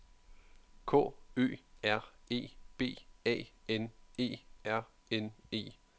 K Ø R E B A N E R N E